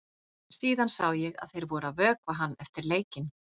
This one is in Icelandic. Síðan sá ég að þeir voru að vökva hann eftir leikinn.